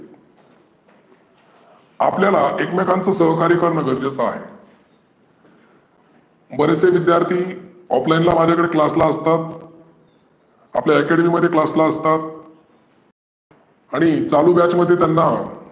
आपल्याला एकमेकांचे सहाय्यक करणे गरजेचं आहे. बरेचशे विद्यार्थी offline ला माझ्याकडे असतात. आपल्या academy मध्ये class ला असतात. आणि चालू batch मध्ये त्यांना